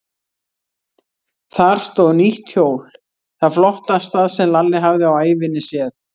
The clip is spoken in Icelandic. Þar stóð nýtt hjól, það flottasta sem Lalli hafði á ævinni séð.